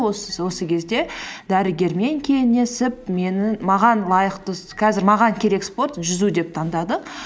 осы кезде дәрігермен кеңесіп маған лайықты қазір маған керек спорт жүзу деп тандадық